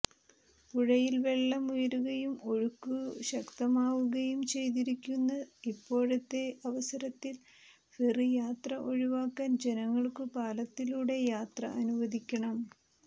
പുഴയിൽ വെള്ളം ഉയരുകയും ഒഴുക്കുകു ശക്തമാവുക യുയുംചെയ്തിരിയ്ക്കുക്കുന്ന ഇപ്പോഴത്തെതെ അവസര ത്തിൽ ഫെറി യാത്ര ഒഴിവാക്കാൻ ജനങ്ങൾക്കുുുപാലത്തിലൂടെ യാത്ര അനുവദിയ്ക്കണം